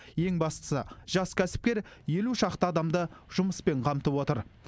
ең бастысы жас кәсіпкер елу шақты адамды жұмыспен қамтып отыр